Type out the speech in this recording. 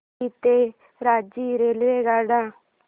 पुरी ते रांची रेल्वेगाड्या